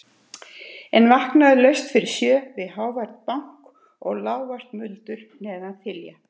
En vakna laust fyrir sjö við hávært bank og lágvært muldur neðan þilja.